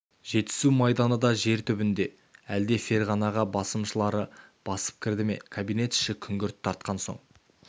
жетісу майданы да жер түбінде әлде ферғана басмашылары басып кірді ме кабинет іші күңгірт тартқан соң